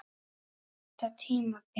Þetta tímabil?